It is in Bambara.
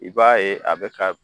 I b'a ye a bɛ ka